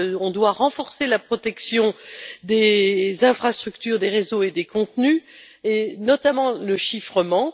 On doit renforcer la protection des infrastructures, des réseaux et des contenus, et notamment le chiffrement.